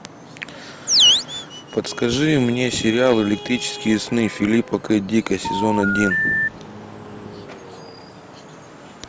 подскажи мне сериал электрические сны филипа к дика сезон один